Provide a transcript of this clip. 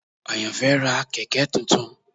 Ayanfe ra kẹ̀kẹ́ tuntun.